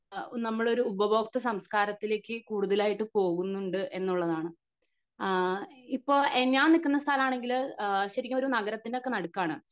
നമ്മളൊരു ഉപഭോക്ത സംസ്കാരത്തിലേക് കൂടുതലായിട്ട് പോകുന്നുണ്ട് എന്നുള്ളതാണ് ആഹ് ഇപ്പൊ ഞാൻ നിക്കുന്ന സ്ഥലാണെങ്കില് ശെരിക്കും ഒരു നഗരത്തിൻ്റെ ഒക്കെ നടുക്കാണ്